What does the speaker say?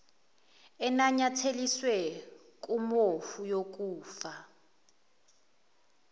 enanyatheliswe kufomu yokufaka